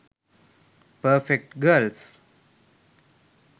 perfect girls